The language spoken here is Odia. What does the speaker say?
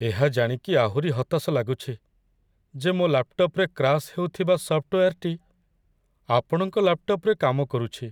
ଏହା ଜାଣିକି ଆହୁରି ହତାଶ ଲାଗୁଛି ଯେ ମୋ ଲାପ୍‌ଟପ୍‌‌ରେ କ୍ରାସ୍ ହେଉଥିବା ସଫ୍ଟୱେୟାର୍‌ଟି ଆପଣଙ୍କ ଲାପ୍‌ଟପ୍‌‌ରେ କାମ କରୁଛି।